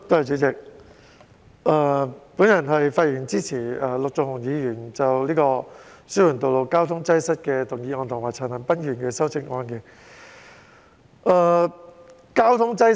主席，我發言支持陸頌雄議員提出的"紓緩道路交通擠塞"原議案，以及陳恒鑌議員的修正案。